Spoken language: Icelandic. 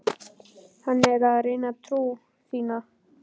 Hann er að reyna trú þína.